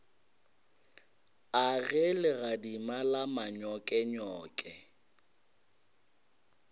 a ge legadima la manyokenyoke